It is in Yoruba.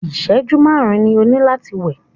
ìṣẹ̀jú márùn ni o ní láti wẹ̀!